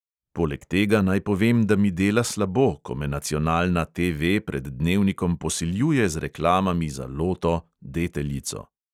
Poleg tega naj povem, da mi dela slabo, ko me nacionalna TV pred dnevnikom posiljuje z reklamami za loto, deteljico …